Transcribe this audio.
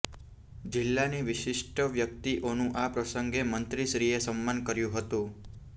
જિલ્લાની વિશિષ્ટ વ્યકિતઓનું આ પ્રસંગે મંત્રીશ્રીએ સન્માન કર્યુ હતું